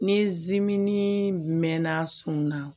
Ni zimini mɛɛnna a sɔn na